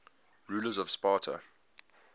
rulers of sparta